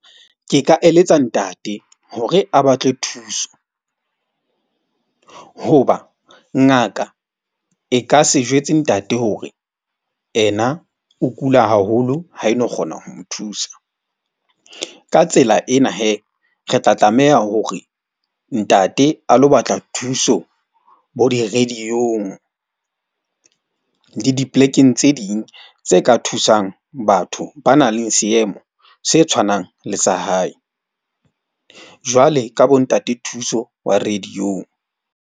Ke ka eletsa ntate hore a batle thuso hoba ngaka e ka se jwetse ntate hore ena o kula haholo, ha e no kgona ho mo thusa. Ka tsela ena re tla tlameha hore ntate a lo batla thuso bo di-radio-ong le di-plek-eng tse ding tse ka thusang batho ba nang le seemo se tshwanang le sa hae. Jwale ka bo Ntate Thuso wa radio-ong.